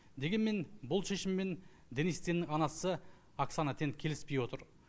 дегенмен бұл шешіммен денис теннің анасы оксана тен келіспей отыр